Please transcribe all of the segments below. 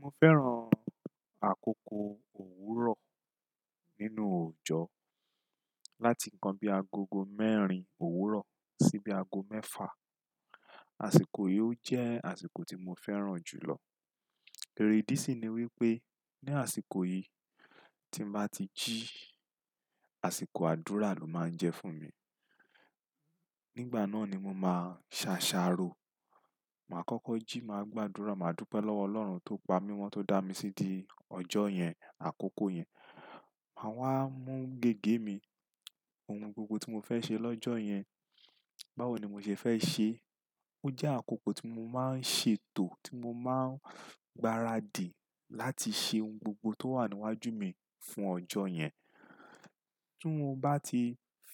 Mo fẹ́ràn àkókò òwúrọ̀ nínú òjò láti nǹkan bí agogo mẹ́rin òwúrọ̀ sí bí ago mẹ́fà. Àsìkò yìí ó jẹ́ àsìkò tí mo fẹ́ràn jù lọ. Èrèdí sì ni wípé ní àsìkò yìí tí mo bá ti jí, àsìkò àdúrà ló máa ń jẹ́ fún mi. Nígbà náà ni mo máa ṣàṣàrò. Mà á kọ́kọ́ jí, mà á gbàdúrà, mà á dúpẹ́ lọ́wọ́ Ọlọ́run tó pa mí mọ́ tó dá mi sídi ọjọ́ yẹn, àkókò yẹn. Mà á wá mú gègé mi, ohun gbogbo tí mo fẹ́ ṣe lọ́jọ́ yẹn, báwo ni mo ṣe fẹ́ ṣe é. Ó jẹ́ àkókò tí mo máa ń ṣètò, tí mo máa ń gbaradì láti ṣe ohun gbogbo tó wà níwájú mi fún ọjọ́ yẹn. Tí mo bá ti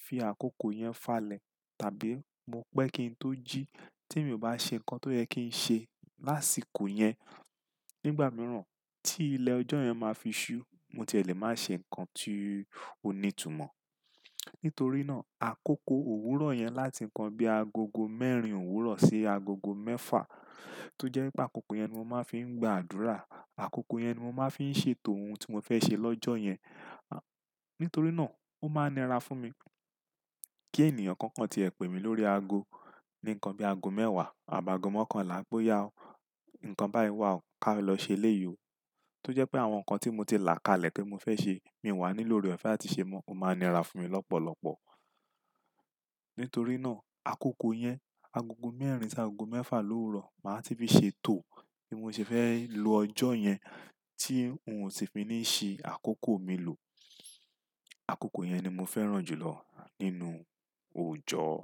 fi àkókò yẹn falẹ̀ tàbí mo pẹ́ kí n tó jí, tí èmi ò bá ṣe nǹkan tó yẹ kí n ṣe lásìkò yẹn, nígbà mìíràn tí ilẹ̀ ọjọ́ yẹn máa fi ṣú, mo tiẹ̀ lé máa ṣe nǹkan tí ó ní ìtumọ̀. Nítorí náà àkókò òwúrọ̀ yẹn láti nǹkan bí agogo mẹ́rin òwúrọ̀ sí agogo mẹ́fà tó jẹ́ pé àkókò yẹn ni mo máa ń fi gba àdúrà, àkókò yẹn ni mo máa ń fi ṣètò ohun tí mo fẹ́ ṣe lọ́jọ́ yẹn, à, nítorí náà ó máa nira fún mi kí ènìyàn kan kan tiẹ̀ pè mí lórí ago ní nǹkan bí ago mẹ́wàá àbáà ago mọ́kànlá pé "yá o, nǹkan báyìí wà o, ká lọ ṣe ilé yìí o" tó jẹ́ pé àwọn nǹkan tí mo ti là ká lẹ̀ pé mo fẹ́ ṣe, mi wà ní lóre òfe à ti ṣe mọ́, ó máa nira fún mi lọ́pọ̀lọpọ̀. Nítorí náà àkókò yẹn, agogo mẹ́rin sí agogo mẹ́fà lórùrọ̀ mà á ti fi ṣètò bí mo ṣe fẹ́ lò ọjọ́ yẹn tí n ò ti fi ní ṣí àkókò mi lò. Àkókò yẹn ni mo fẹ́ràn jù lọ nínú òjò.